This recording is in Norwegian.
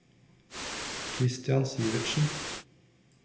Kristian Sivertsen